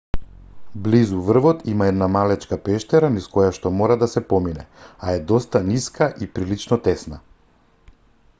близу врвот има една малечка пештера низ којашто мора да се помине а е доста ниска и прилично тесна